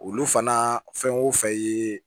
Olu fana fɛn o fɛn ye